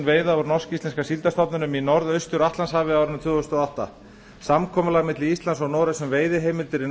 úr norsk íslenska síldarstofninum í norðaustur atlantshafi á árinu tvö þúsund og átta samkomulag milli íslands og noregs um veiðiheimildir